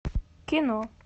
кино